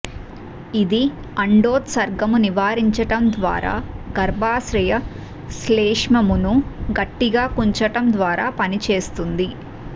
ఇది అండోత్సర్గము నివారించటం ద్వారా మరియు గర్భాశయ శ్లేష్మమును గట్టిగా కుంచటం ద్వారా పనిచేస్తుంది